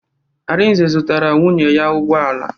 Arinze zụtara nwunye ya ụgbọala.